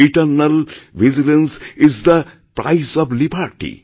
eternal vigilance is the price of liberty